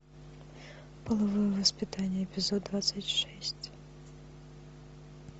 половое воспитание эпизод двадцать шесть